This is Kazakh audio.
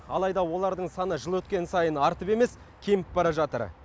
алайда олардың саны жыл өткен сайын артып емес кеміп бара жатыр